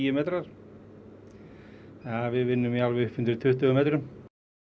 metrar við vinnum alveg í upp undir tuttugu metrum